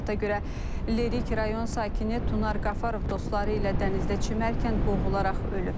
Məlumata görə Lərik rayon sakini Tunar Qafarov dostları ilə dənizdə çimərkən boğularaq ölüb.